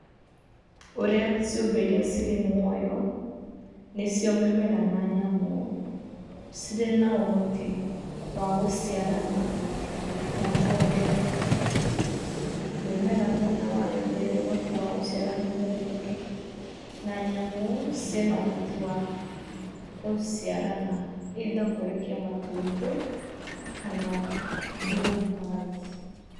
Ũrĩa ciũmbe iria cirĩ muoyo, nĩcio mĩmera na nyamũ, cirĩ na ũhoti wa gũciarana na kuongerereka, mĩmera mwena wayo nĩĩrĩ ũhoti wa gũciara mĩmera ĩngĩ, na nyamũ ciĩna ũhoti wa gũciarana either kũrekia matumbĩ kana through birth.